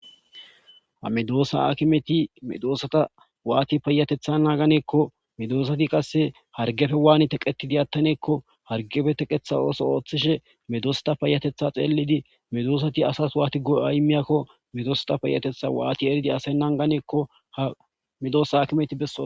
Ha medosa akimeti medosata wati patetha nagane gikko medosati qase hargeppe wati teqetidi atane gikko hargeppe teqetha oso oothishin medosata payatetha xelidi medosati asas watti go'a immizakon medosata payatetha watti erane ha medosa akimeti besoyso